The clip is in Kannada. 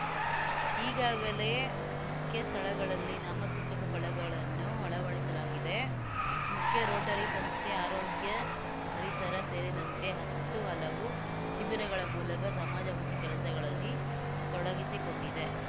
ಈಗಾಗಲೇ ಮುಖ್ಯ ಸ್ಥಳಗಳಲ್ಲಿ ನಾಮಸೂಚಕ ಫಲಗಳನ್ನು ಅಳವಡಿಸಲಾಗಿದೆ ಮುಖ್ಯ ರೋಟರಿ ಸಂಸ್ಥೆ ಆರೋಗ್ಯ ಪರಿಸರ ಸೇರಿದಂತೆ ಹತ್ತುಹಲವು ಶಿಬಿರಗಳ ಮೂಲಕ ಸಮಾಜಮುಖಿ ಕೆಲಸಗಳಲ್ಲಿ ತೊಡಗಿಸಿಕೊಂಡಿದೆ